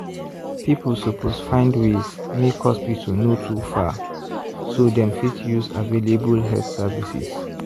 people suppose find ways make hospital no too far so dem fit use available health services.